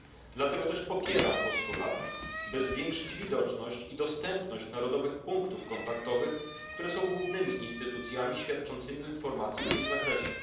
Dlatego też popieram postulat, by zwiększyć widoczność i dostępność narodowych punktów kontaktowych, które są głównymi instytucjami świadczącymi informacje w tym zakresie.